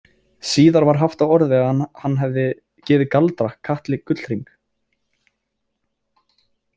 Síðar var haft á orði að hann hefði gefið Galdra- Katli gullhring.